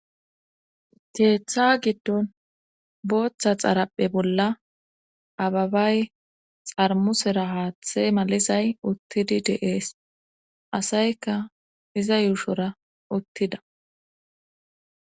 Teeththa giddon booththa xarapphe bolla ababay xarmusera haaththe malizay uttidi deees asayka iza yuushora uttida